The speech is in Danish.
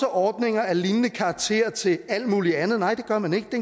ordninger af lignende karakter til alt muligt andet nej det gør man ikke det